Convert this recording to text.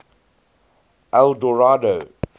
eldorado